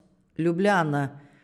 Ljubljana.